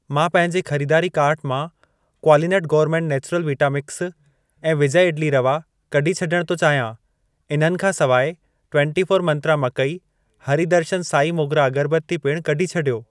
मां पंहिंजे खरीदारी कार्ट मां क्वालिनट गौरमेंट नेचुरल वीटा मिक्स ऐं विजय इडली रवा कढी छॾण थो चाहियां। इन्हनि खां सिवाइ, टुवेंटी फोर मंत्रा मकई, हरी दर्शन साई मोगरा अगरबत्ती पिणु कढी छॾियो।